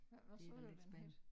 Hvad hvad sagde du den hed?